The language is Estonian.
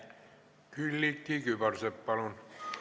Külliki Kübarsepp, palun!